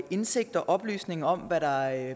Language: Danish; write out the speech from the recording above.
indsigt og oplysning om hvad der